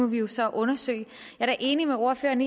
vi jo så undersøge jeg er enig med ordføreren